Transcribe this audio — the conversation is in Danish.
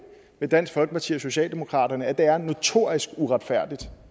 dansk folkeparti og socialdemokratiet er notorisk uretfærdigt